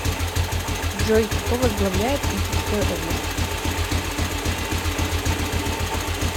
джой кто возглавляет витебская область